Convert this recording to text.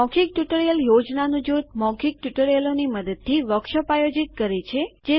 મૌખિક ટ્યુટોરીયલ યોજનાનું જૂથ મૌખિક ટ્યુટોરિયલોની મદદથી વર્કશોપ આયોજિત કરે છે